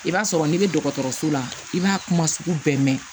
I b'a sɔrɔ n'i bɛ dɔgɔtɔrɔso la i b'a kuma sugu bɛɛ mɛn